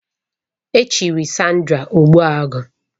Echiri Sandra Ogbuagu